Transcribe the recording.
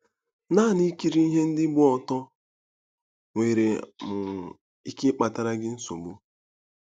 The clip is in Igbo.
Naanị ikiri ihe ndị gba ọtọ nwere um ike ịkpatara gị nsogbu.